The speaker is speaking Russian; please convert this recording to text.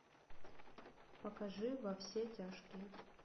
покажи во все тяжкие